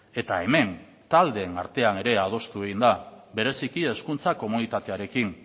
eta hemen taldeen artean ere adostu egin da bereziki hezkuntza komunitatearekin